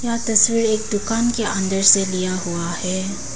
यह तस्वीर एक दुकान के अन्दर से लिया हुआ है।